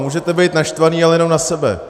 Můžete být naštvaní, ale jenom na sebe!